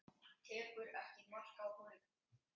Tekur ekki mark á honum.